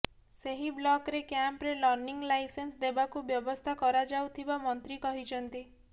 ସେହି ବ୍ଲକ୍ରେ କ୍ୟାମ୍ପରେ ଲର୍ଣ୍ଣିଂ ଲାଇସେନ୍ସ ଦେବାକୁ ବ୍ୟବସ୍ଥା କରାଯାଉଥିବା ମନ୍ତ୍ରୀ କହିଛନ୍ତି